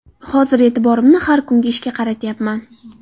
Hozir e’tiborimni har kungi ishga qaratyapman.